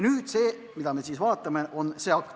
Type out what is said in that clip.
See, mida me nüüd vaatame, ongi see akt.